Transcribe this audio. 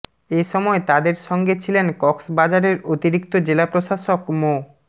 এ সময় তাদের সঙ্গে ছিলেন কক্সবাজারের অতিরিক্ত জেলা প্রশাসক মো